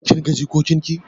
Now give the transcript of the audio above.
Kin ga jikokin ki?